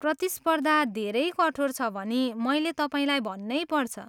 प्रतिस्पर्दा धेरै कठोर छ भनी मैले तपाईँलाई भन्नै पर्छ।